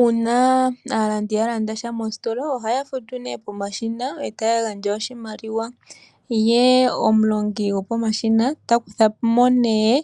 Uuna aalandi ya landa sha mositola ohaya futu pomashina e taya gandja oshimaliwa. Ye omulongi gopomashina ta kutha po nee